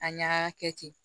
A ɲaga kɛ ten